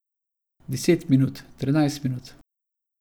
Deset minut, trinajst minut.